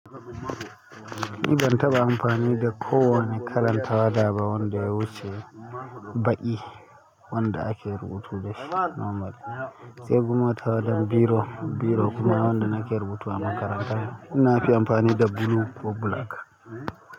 Ni ban taɓa amfani da kowane kalan tawada ba wanda ya wuce baƙi wanda ake rubutu da shi normal. Sai kuma tawadan biro, biro kuma wanda na ke rubutu a makaranta na fi amfani da blue ko black.